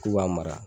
K'u b'a mara